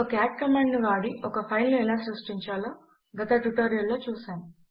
ఒక cat command ను వాడి ఒక ఫైల్ ను ఎలా సృష్టించాలో గత ట్యుటోరియల్ లో చూసాము